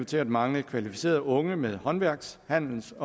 til at mangle kvalificerede unge med håndværksuddannelse